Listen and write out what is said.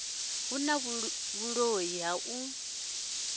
hu na vhuloi ha u